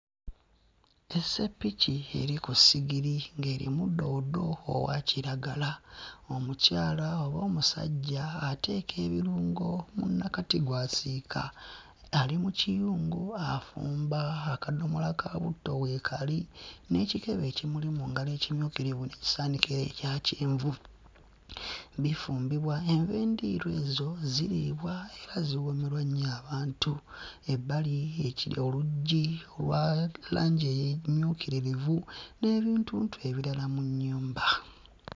Esseppiki eri ku ssigiri ng'erimu ddoodo owa kiragala, omukyala oba omusajja ateeka ebirungo mu nnakati gw'asiika, ali mu kiyungu afumba akadomola ka butto weekali n'ekibe ekimuli mu ngalo ekimyukirivu ekisaanikira ekyakyenvu. Bifumbibwa envendiirwa ezo ziriibwa era ziwoomerwa abantu. Ebbali eki oluggi lwa langi emmyukiririvu n'ebintuntu ebirala mu nnyumba.